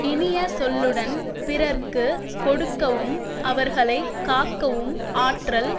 இனிய சொல்லுடன் பிறர்க்கு கொடுக்கவும் அவர்களை காக்கவும் ஆற்றல்